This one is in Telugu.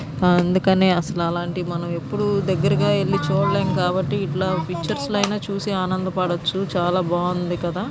అందుకని అసలు అలాంటివి మనం దగ్గరకి వెళ్లి చూడలేం కాబ్బటి ఇలా పిక్చర్స్ లో ఐన చూసి ఆనందపడొచ్చు. బాగుంది కదా.